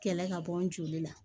Kɛlɛ ka bɔ n joli la